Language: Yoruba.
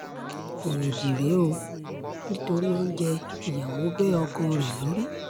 éèdì rèé o nítorí oúnjẹ ìyàwó bẹ́ ọkọ rẹ̀ lórí